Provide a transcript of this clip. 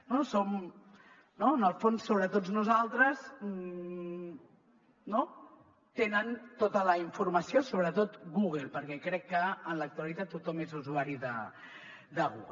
en el fons sobre tots nosaltres no tenen tota la informació sobretot google perquè crec que en l’actualitat tothom és usuari de google